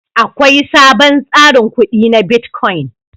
Akwai sabon tsarin kudi na bitcoin.